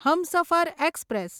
Humsafar express